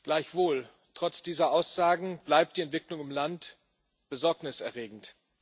Gleichwohl Trotz dieser Aussagen bleibt die Entwicklung im Land besorgniserregend.